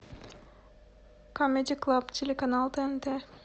камеди клаб телеканал тнт